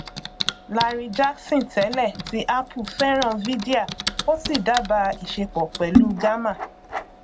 larry jackson tẹlẹ ti apple fẹràn vydia ó sì dábàa ìṣepọ pẹlú gamma